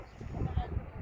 Ay mama, hardasan?